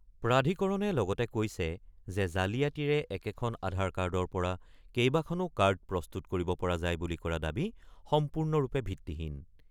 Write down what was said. প্ৰাধিকৰণে লগতে কৈছে যে জালিয়াতিৰে একেখন আধাৰ কাৰ্ডৰ পৰা কেইবাখনো কাৰ্ড প্ৰস্তুত কৰিব পৰা যায় বুলি কৰা দাবী সম্পূৰ্ণৰূপে ভিত্তিহীন।